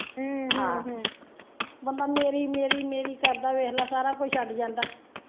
ਹਮ ਹਮ ਹਮ ਬੰਦਾ ਮੇਰੀ ਮੇਰੀ ਮੇਰੀ ਕਰਦਾ ਵੇਖਲਾ ਸਾਰਾ ਕੁਝ ਛੱਡ ਜਾਂਦਾ।